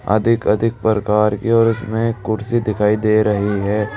अधिक अधिक प्रकार की और उसमें कुर्सी दिखाई दे रही है।